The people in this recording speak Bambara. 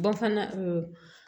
Ba fana